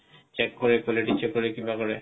track কৰে কিবা কৰে